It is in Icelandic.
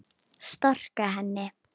Storka henni.